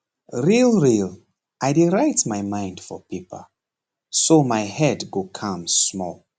real real i dey write my mind for paper so my head go calm small